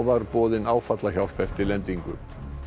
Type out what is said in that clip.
var boðin áfallahjálp eftir lendingu